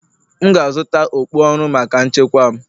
M ga-azụta okpu ọrụ maka nchekwa m